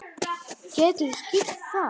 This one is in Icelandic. Geturðu skýrt það?